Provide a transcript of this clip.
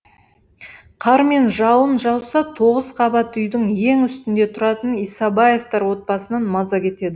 қар мен жауын жауса тоғыз қабат үйдің ең үстінде тұратын исабаевтар отбасынан маза кетеді